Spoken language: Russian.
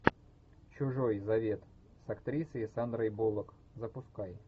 чужой завет с актрисой сандрой буллок запускай